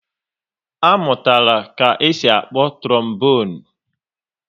A mụtara ka-esi akpọ trobonu